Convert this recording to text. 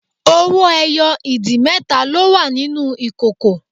Owó ẹyọ ìdì mẹ́ta ló wà nínú ìkòkò